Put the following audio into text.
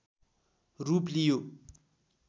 रूप लियो